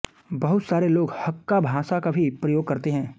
बहुत सारे लोग हक्का भाषा का भी प्रयोग करते हैं